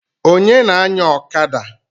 Onye na-anya ọkada?